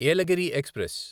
Yelagiri express